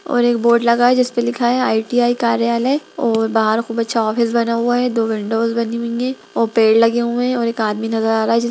और एक बोर्ड लगा है जिसपे लिखा है आई_टी_आई कार्यालय और बाहर खूब अच्छा ऑफिस बना हुआ है दो विंडोज बनी हुई है और पेड़ लगे हुए है और एक आदमी नजर आ रहा है। जिसे --